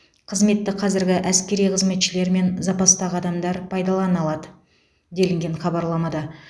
қызметті қазіргі әскери қызметшілер мен запастағы адамдар пайдалана алады делінген хабарламада